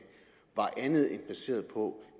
var andet end baseret på